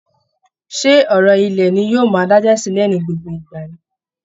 Ṣé ọ̀rọ̀ ilẹ̀ ni yóò máa dájà sílẹ̀ ní gbogbo ìgbà ni?